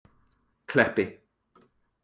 Kleppi